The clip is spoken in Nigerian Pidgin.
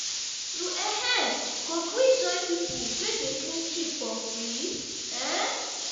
you um go gree join pipu wey dey clean street for free? um